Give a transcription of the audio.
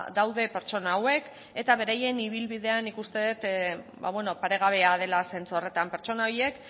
daude pertsona hauek eta beraien ibilbidea nik uste dut ba bueno paregabea dela zentzu horretan pertsona horiek